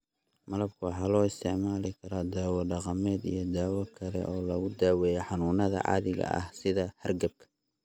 Malabka waxaa loo isticmaali karaa dawo dhaqameed iyo dawo kale oo lagu daweeyo xanuunnada caadiga ah sida hargabka.